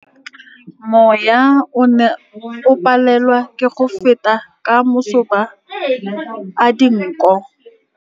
Mowa o ne o palelwa ke go feta ka masoba a dinko.